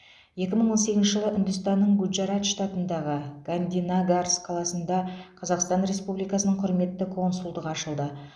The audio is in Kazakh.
екі мың он сегізінші жылы үндістанның гуджарат штатындағы гандинагарс қаласында қазақстан республикасының құрметті консульдығы ашылды